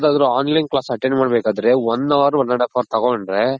ಯಾವ್ದಾದ್ರು online class attend ಮಾಡ್ ಬೇಕಂದ್ರೆ one hour one and half hour ತಗೊಂಡ್ರೆ